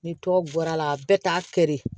Ni tɔ bɔra la a bɛ t'a kɛ de